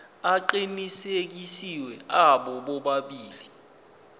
aqinisekisiwe abo bobabili